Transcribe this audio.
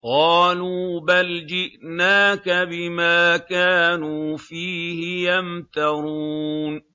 قَالُوا بَلْ جِئْنَاكَ بِمَا كَانُوا فِيهِ يَمْتَرُونَ